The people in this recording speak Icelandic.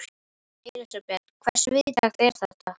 Elísabet, hversu víðtækt er þetta?